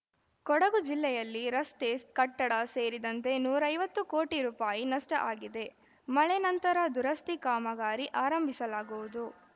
ಕೊಡಗು ಜಿಲ್ಲೆಯಲ್ಲಿ ರಸ್ತೆ ಕಟ್ಟಡ ಸೇರಿದಂತೆ ನೂರ ಐವತ್ತು ಕೋಟಿ ರುಪಾಯಿ ನಷ್ಟಆಗಿದೆ ಮಳೆ ನಂತರ ದುರಸ್ತಿ ಕಾಮಗಾರಿ ಆರಂಭಿಸಲಾಗುವುದು